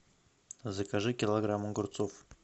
закажи килограмм огурцов